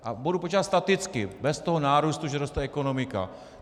A budu počítat staticky, bez toho nárůstu, že roste ekonomika.